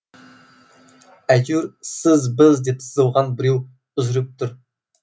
әйтеуір сіз біз деп сызылған біреу үзіліп тұр